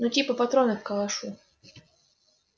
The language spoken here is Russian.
ну типа патроны к калашу